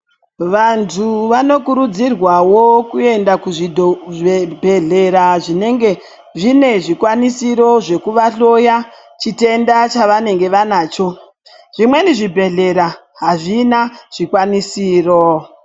Vantu vanokurudzirwawo kuende kuzvibhehleya zvinenge zvine zvikwanisiro zvekuvahloya chitenda chavanenge vanacho zvimweni zvibhehleya azvina zvikwanisiro.